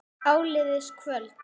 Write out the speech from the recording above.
Áliðið kvölds.